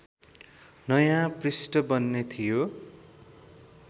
नयाँ पृष्ठ बन्ने थियो